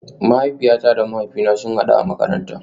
Mahaifiyata da mahaifina sun hadu a makaranta